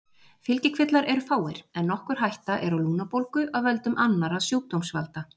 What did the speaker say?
Fylgikvillar eru fáir en nokkur hætta er á lungnabólgu af völdum annarra sjúkdómsvalda.